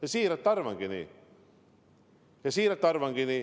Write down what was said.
Ma tõesti arvangi nii, siiralt ütlen.